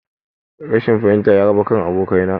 Rashin fahimta ya raba kan abokanai